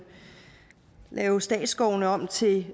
lave statsskovene om til